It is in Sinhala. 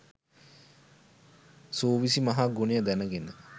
සූවිසි මහා ගුණය දැනගෙන